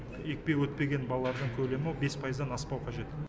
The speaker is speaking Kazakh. екпе өтпеген балалардың көлемі бес пайыздан аспау қажет